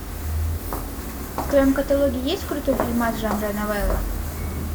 в твоем каталоге есть крутой фильмас жанра новелла